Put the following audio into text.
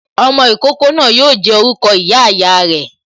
Ọmọ ìkókó náà yo jẹ́ orúkọ ìyá ìyá re